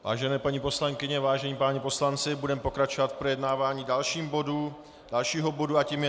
Vážené paní poslankyně, vážení páni poslanci, budeme pokračovat v projednávání dalšího bodu a tím je